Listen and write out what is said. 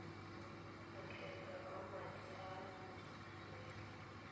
lokgetho lwa madi a lotseno